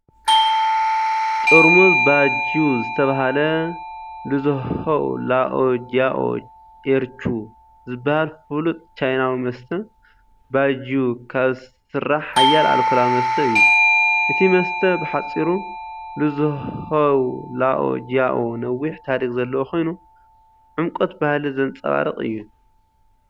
ጥርሙዝ ባይጂዩ ዝተባህለ "ሉዝሆው ላኦ ጂያኦ ኤር ቹ" ዝበሃል ፍሉጥ ቻይናዊ መስተ። ባይጂዩ ካብ ዝስራሕ ሓያል ኣልኮላዊ መስተ እዩ። እቲ መስተ፡ ብሓጺሩ "ሉዝሆው ላኦ ጂያኦ" ነዊሕ ታሪኽ ዘለዎ ኮይኑ፡ ዕምቆት ባህሊ ዘንጸባርቕ እዩ።